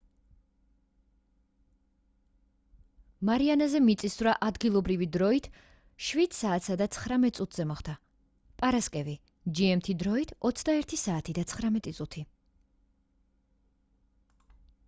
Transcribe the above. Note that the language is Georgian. მარიანაზე მიწისძვრა ადგილობრივი დროით 07:19 სთ-ზე მოხდა პარასკევი gmt დროით 21:19 საათი